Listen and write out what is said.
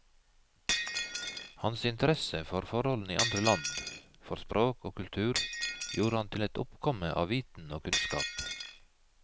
Hans interesse for forholdene i andre land, for språk og kultur gjorde ham til et oppkomme av viten og kunnskap.